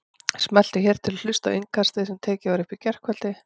Smelltu hér til að hlusta á Innkastið sem tekið var upp í gærkvöldi